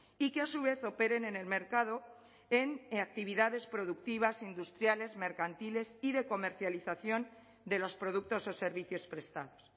y que a su vez operen en el mercado en actividades productivas industriales mercantiles y de comercialización de los productos o servicios prestados